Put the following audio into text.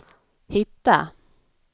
hitta